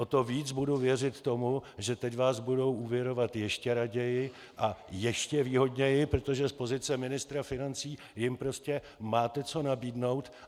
O to víc budu věřit tomu, že teď vás budou úvěrovat ještě raději a ještě výhodněji, protože z pozice ministra financí jim prostě máte co nabídnout.